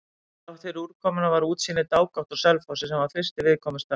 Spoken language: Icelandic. Þráttfyrir úrkomuna var útsýni dágott á Selfossi, sem var fyrsti viðkomustaður.